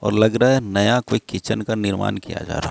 और लग रहा है नया कोई किचन का निर्माण किया जा रहा--